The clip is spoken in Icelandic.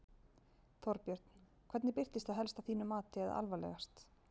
Þorbjörn: Hvernig birtist það helst að þínu mati eða alvarlegast?